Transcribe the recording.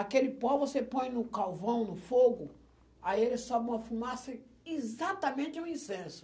Aquele pó você põe no calvão, no fogo, aí ele sobe uma fumaça, exatamente um incenso.